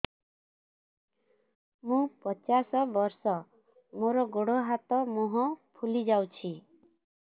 ମୁ ପଚାଶ ବର୍ଷ ମୋର ଗୋଡ ହାତ ମୁହଁ ଫୁଲି ଯାଉଛି